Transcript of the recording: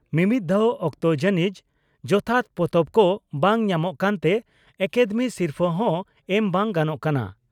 ᱢᱤᱢᱤᱫ ᱫᱦᱟᱣ ᱚᱠᱛᱚ ᱡᱟᱹᱱᱤᱡ ᱡᱚᱛᱷᱟᱛ ᱯᱚᱛᱚᱵ ᱠᱚ ᱵᱟᱝ ᱧᱟᱢᱚᱜ ᱠᱟᱱᱛᱮ ᱟᱠᱟᱫᱮᱢᱤ ᱥᱤᱨᱯᱷᱟᱹ ᱦᱚᱸ ᱮᱢ ᱵᱟᱝ ᱜᱟᱱᱚᱜ ᱠᱟᱱᱟ ᱾